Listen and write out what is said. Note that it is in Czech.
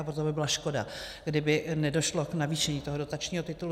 A proto by byla škoda, kdyby nedošlo k navýšení toho dotačního titulu.